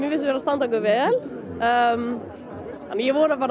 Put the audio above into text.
við vera að standa okkur vel en ég vona bara